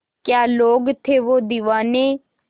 क्या लोग थे वो दीवाने